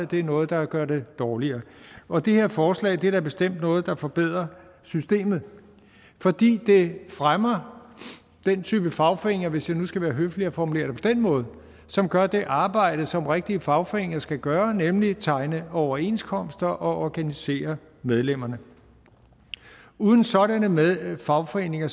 det er noget der gør det dårligere og det her forslag er da bestemt noget der forbedrer systemet fordi det fremmer den type fagforeninger hvis jeg nu skal være høflig og formulere det på den måde som gør det arbejde som rigtige fagforeninger skal gøre nemlig at tegne overenskomster og organisere medlemmerne uden sådanne fagforeninger